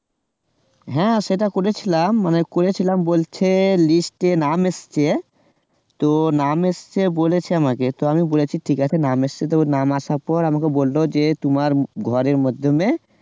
হ্যাঁ সেটা করেছিলাম মানে করেছিলাম বলছে list এ নাম এসছে তো নাম এসেছে বলেছে আমাকে আমি বলেছি ঠিক আছে নাম এসছে যখন আসার পর আমাকে বলল যে তোমার ঘরের মাধ্যমে